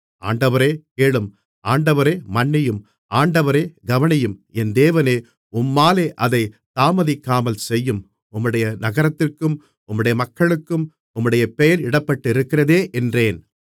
ஆண்டவரே கேளும் ஆண்டவரே மன்னியும் ஆண்டவரே கவனியும் என் தேவனே உம்மாலே அதைத் தாமதிக்காமல் செய்யும் உம்முடைய நகரத்திற்கும் உம்முடைய மக்களுக்கும் உம்முடைய பெயர் இடப்பட்டிருக்கிறதே என்றேன்